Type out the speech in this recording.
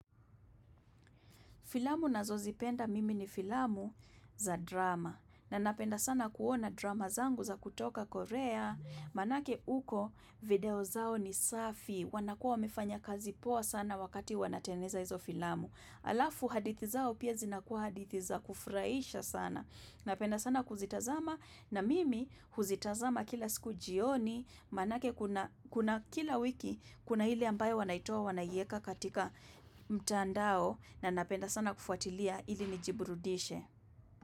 Filamu nazozipenda mimi ni filamu za drama. Na napenda sana kuona drama zangu za kutoka Korea. Maanake uko video zao ni safi. Wanakuwa wamefanya kazi poa sana wakati wanatengeza hizo filamu. Alafu hadithi zao pia zinakuwa hadithi za kufurahisha sana. Napenda sana kuzitazama na mimi huzitazama kila siku jioni. Maanake kuna kila wiki kuna ile ambayo wanaitoa wanaieka katika mtandao. Na napenda sana kufuatilia ili nijiburudishe.